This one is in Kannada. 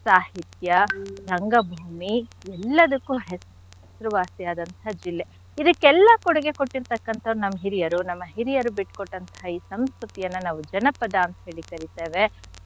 ಸಾಹಿತ್ಯ, ರಂಗಭೂಮಿ ಎಲ್ಲದಕ್ಕೂ ಹೆಸರ್ವಾಸಿಯಾದಂಥ ಜಿಲ್ಲೆ. ಇದಕ್ಕೆಲ್ಲ ಕೊಡುಗೆ ಕೊಟ್ಟಿರ್ತಕ್ಕಂಥವರ್ ನಮ್ ಹಿರಿಯರು ನಮ್ಮ ಹಿರಿಯರು ಬಿಟ್ಕೊಟ್ಟಂತಹ ಈ ಸಂಸ್ಕೃತಿಯನ್ನ ನಾವು ಜನಪದ ಅಂತ್ ಹೇಳಿ ಕರಿತೇವೆ.